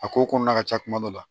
A ko kɔnɔna ka ca kuma dɔ la